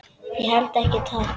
Ég held ekki, takk.